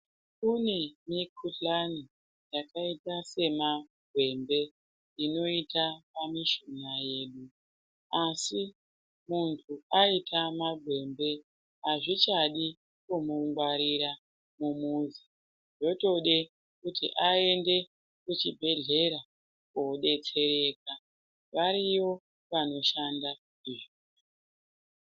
Kunemikuhlani yakaita samagwembe inoita pamishunya yedu asi munhu aita magwembe hazvichadi kumungwarira mumuzi zvotode kuti aende kuchibhedlera kodetsereka ,variyo vanoshanda.